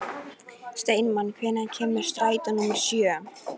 Steinmann, hvenær kemur strætó númer sjö?